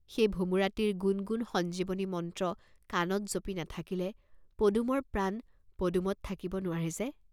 সেই ভোমোৰাটিৰ গুণ্ গুণ্ সঞ্জীৱনী মন্ত্ৰ কাণত জপি নাথকিলে পদুমৰ প্ৰাণ পদুমত থাকিব নোৱাৰে যে!